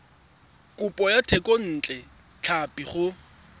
kopo ya thekontle tlhapi go